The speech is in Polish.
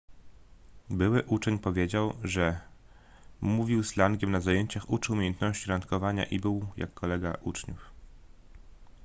były uczeń powiedział że mówił slangiem na zajęciach uczył umiejętności randkowania i był jak kolega uczniów